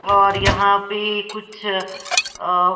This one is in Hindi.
और यहां पे कुछ अ--